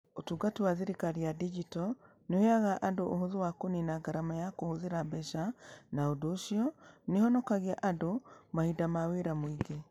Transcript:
Ũtungata wa thirikari ya digito nĩ ũheaga andũ ũhũthũ na kũniina ngarama ya kũhũthĩra mbeca, na ũndũ ũcio nĩ ũhonokagia andũ mahinda ma wĩra mũingĩ.